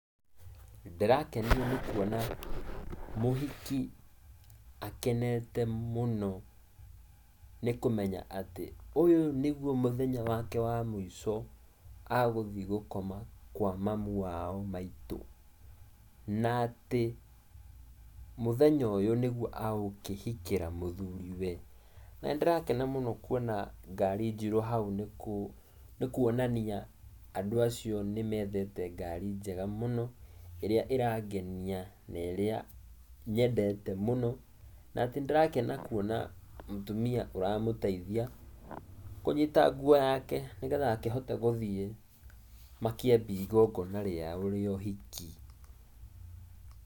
Ndĩrakenio nĩ kuona mũhiki akenete mũno nĩkũmenya atĩ, ũyũ nĩgũo mũthenya wake wa mũico agũthiĩ gũkoma kwa mamu wao maitũ, na atĩ mũthenya ũyũ nĩguo egũkĩhikĩra mũthuriwe, na nĩndĩrakena mũno kuona ngari njirũ nĩkuonania andũ acio nĩ methete ngari njega mũno, ĩrĩa ĩrangenia na ĩrĩa nyendete mũno, na atĩ nĩndĩrakena kuona mũtumia ũramũteithia kũnyita nguo yake nĩgetha akĩhote gũthiĩ makĩambie igongona rĩao rĩa ũhiki.